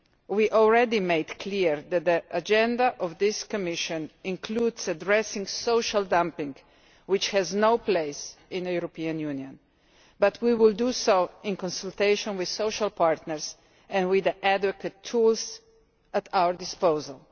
We already made clear that the agenda of this Commission includes addressing social dumping, which has no place in the European Union, but we will do so in consultation with social partners and with adequate tools at our disposal.